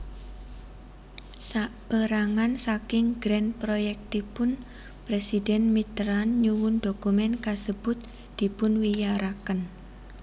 Sapérangan saking Grand Projectipun Presiden Mitterrand nyuwun dokumen kasebut dipunwiyaraken